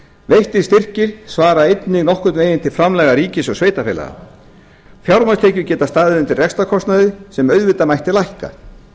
veittir styrkir svara einnig nokkurn veginn til framlaga ríkis og sveitarfélaga fjármagnstekjur geta staðið undir rekstrarkostnaði sem auðvitað mætti lækka